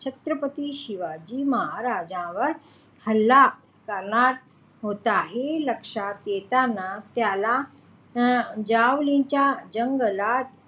छत्रपती शिवाजी महाराज्यांवर हल्ला करणार होता हे लक्ष्यात येताना त्याला जावळीच्या जंगलात,